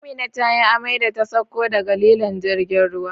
Amina tayi amai da ta sauko daga lilon jirgin ruwa